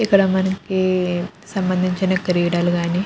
ఇక్కడ మనకి సంబంధించిన క్రీడలు కానీ --